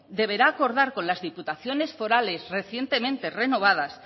deberá acordar con las diputaciones forales recientemente renovadas